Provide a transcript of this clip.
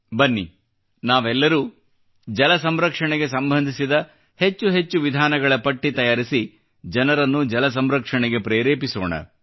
ಬನ್ನಿ ನಾವೆಲ್ಲರೂ ಜಲಸಂರಕ್ಷಣೆಗೆ ಸಂಬಂಧಿಸಿದ ಹೆಚ್ಚು ವಿಧಾನಗಳ ಪಟ್ಟಿ ತಯಾರಿಸಿ ಜನರನ್ನು ಜಲಸಂರಕ್ಷಣೆಗೆ ಪ್ರೇರೇಪಿಸೋಣ